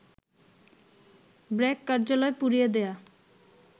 ব্র্যাক কার্যালয় পুড়িয়ে দেয়া